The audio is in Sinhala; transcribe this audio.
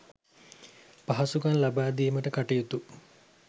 පහසුකම් ලබා දීමට කටයුතු